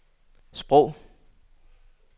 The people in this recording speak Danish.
sprog